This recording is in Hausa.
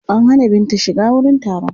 An hana Binta shiga wurin taron.